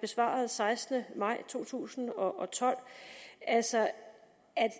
besvarede den sekstende maj to tusind og tolv altså at